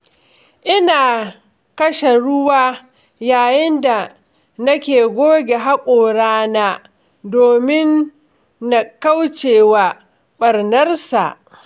Ina kashe ruwa yayin da nake goge haƙorana domin na kauce wa ɓarnarsa.